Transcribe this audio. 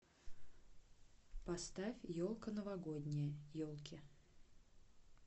поставь елка новогодняя елки